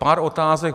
Pár otázek.